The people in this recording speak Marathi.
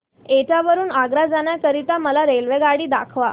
एटा वरून आग्रा जाण्या करीता मला रेल्वेगाडी दाखवा